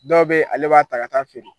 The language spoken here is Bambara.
Dɔw bɛ ale b'a ta ka ta'a feere